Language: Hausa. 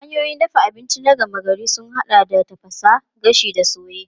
Hanyoyin dafa abinci na gama gari sun haɗa da tafasa, gashi da soye.